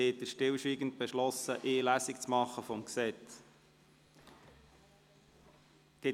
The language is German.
Dann haben Sie stillschweigend beschlossen, eine Lesung des Gesetzes zu machen.